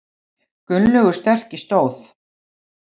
Gunnlaugur sterki stóð.